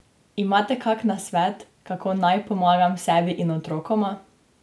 Imate kak nasvet, kako naj pomagam sebi in otrokoma?